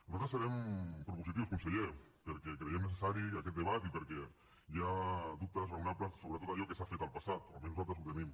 nosaltres serem propositius conseller perquè creiem necessari aquest debat i perquè hi ha dubtes raonables sobre tot allò que s’ha fet en el passat o almenys nosaltres els tenim